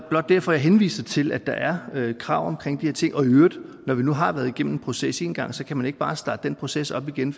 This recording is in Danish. blot derfor jeg henviser til at der er krav omkring de her ting og i øvrigt når vi nu har været igennem en proces en gang kan man ikke bare starte den proces op igen